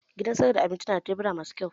Gidan sayar da abinci na da tebura masu kyau